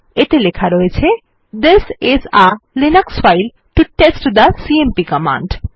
এতে লেখা রয়েছে this is a Linux file to test the cmp command